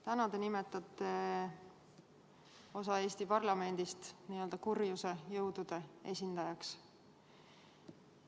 Täna te nimetate osa Eesti parlamendist n-ö kurjuse jõudude esindajaks.